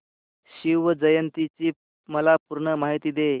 शिवजयंती ची मला पूर्ण माहिती दे